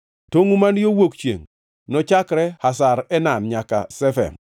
Tongʼu man yo wuok chiengʼ, nochakre Hazar Enan nyaka Shefam.